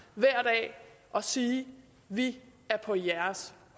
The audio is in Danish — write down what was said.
hver dag og sige vi er på jeres